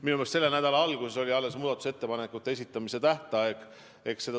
Minu meelest selle nädala alguses oli alles muudatusettepanekute esitamise tähtaeg.